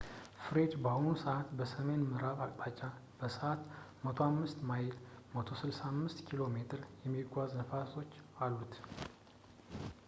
ፍሬድ በአሁን ሰዕት በሰሜን ምዕራብ አቅጣጫ በሰዕት 105 ማይሎች 165 ኪሜ የሚጓዙ ንፋሶች እሉት